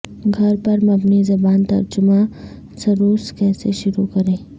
گھر پر مبنی زبان ترجمہ سروس کیسے شروع کریں